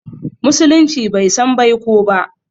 Musulunci bai san baiko ba